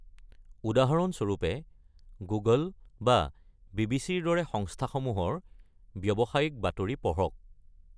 উদাহৰণস্বৰূপে, গুগল বা বিবিচিৰ দৰে সংস্থাসমূহৰ ব্যৱসায়িক বাতৰি পঢ়ক।